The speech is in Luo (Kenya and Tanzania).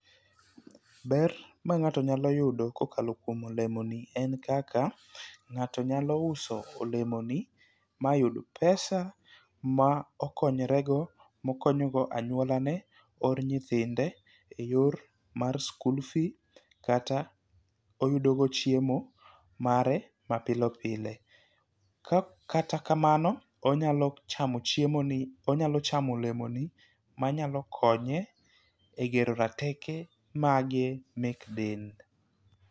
Ber ma ng'ato nya yudo kokalo kuom olemo ni en kaka ng'ato nyalo uso olemo ni mayud pesa ma okonyre go mokonyo go anyuolane or nyithinde e yor mar skul fee kata oyudo go chiemo mare mapile pile . ka kata kamano onyalo chamo chiemo ni onyalo chamo olemo ni manyalo konye e gero rateke mek del